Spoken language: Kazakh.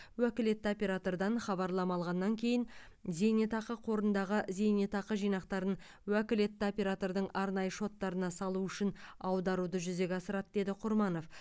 уәкілетті оператордан хабарлама алғаннан кейін зейнетақы қорындағы зейнетақы жинақтарын уәкілетті оператордың арнайы шоттарына салу үшін аударуды жүзеге асырады деді құрманов